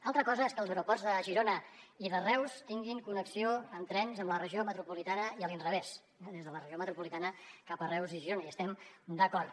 altra cosa és que els aeroports de girona i de reus tinguin connexió amb trens amb la regió metropolitana i a l’inrevés des de la regió metropolitana cap a reus i girona hi estem d’acord